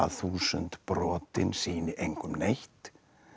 þúsund brotin sýni engum neitt